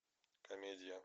комедия